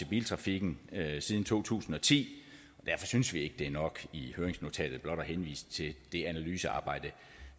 biltrafikken siden to tusind og ti derfor synes vi ikke det er nok i høringsnotatet blot at henvise til det analysearbejde